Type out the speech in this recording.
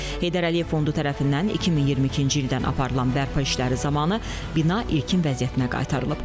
Heydər Əliyev Fondu tərəfindən 2022-ci ildən aparılan bərpa işləri zamanı bina ilkin vəziyyətinə qaytarılıb.